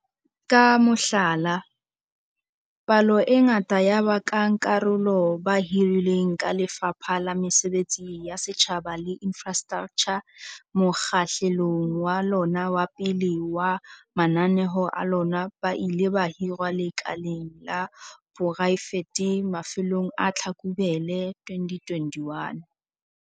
Ka mohlala, palo e ngata ya bankakarolo ba hirilweng ke Lefapha la Mesebetsi ya Setjhaba le Infrastraktjha mokgahlelong wa lona wa pele wa mananeo a lona ba ile ba hirwa lekaleng la poraefete mafelong a Tlhakubele 2021.